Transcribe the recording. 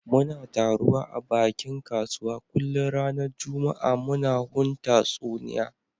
Muna taruwa a bakin kasuwa kullun ranan juma'a muna hun tatsuniya